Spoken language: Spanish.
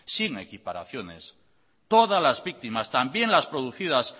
sin equiparaciones todas las víctimas también las producidas